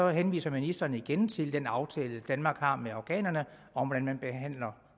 henviser ministeren igen til den aftale danmark har med afghanerne om hvordan man behandler